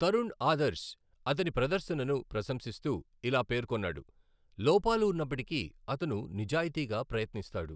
తరణ్ ఆదర్శ్ అతని ప్రదర్శనను ప్రశంసిస్తూ ఇలా పేర్కొన్నాడు, లోపాలు ఉన్నప్పటికీ, అతను నిజాయితీగా ప్రయత్నిస్తాడు.